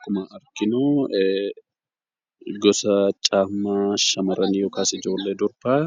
Akkuma arginu gosa kophee shamarranii yookaas ijoollee durbaa